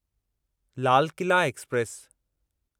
Lal Qila express